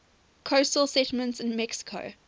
coastal settlements in mexico